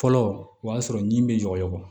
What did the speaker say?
Fɔlɔ o y'a sɔrɔ ɲin bɛ ɲɔgɔn kɔ